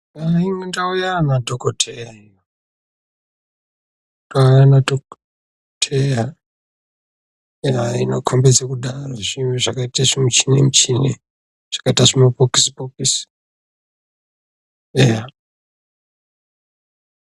Mundau mana dhokodheya ayana dhokodheya inokombedza kuti zvinhu zvakaita zvimishini shini zvajaita zvimabhokisi bhokisi eya.